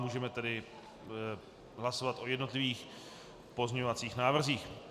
Můžeme tedy hlasovat o jednotlivých pozměňovacích návrzích.